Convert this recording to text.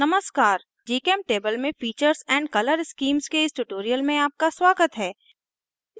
नमस्कार gchemtable में features and color schemes के इस tutorial में आपका स्वागत है